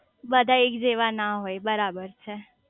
બધા એક જેવા ના હોય બરાબર છે